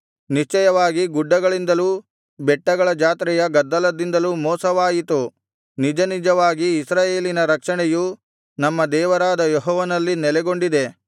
ನಿಶ್ಚಯವಾಗಿ ಗುಡ್ಡಗಳಿಂದಲೂ ಬೆಟ್ಟಗಳ ಜಾತ್ರೆಯ ಗದ್ದಲದಿಂದಲೂ ಮೋಸವಾಯಿತು ನಿಜನಿಜವಾಗಿ ಇಸ್ರಾಯೇಲಿನ ರಕ್ಷಣೆಯು ನಮ್ಮ ದೇವರಾದ ಯೆಹೋವನಲ್ಲಿ ನೆಲೆಗೊಂಡಿದೆ